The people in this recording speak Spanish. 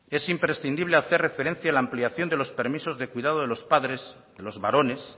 es imprescindible hacer referencia a la ampliación de los permisos de cuidado de los padres los varones